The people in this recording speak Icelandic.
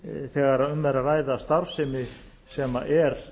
þegar um er að ræða starfsemi sem er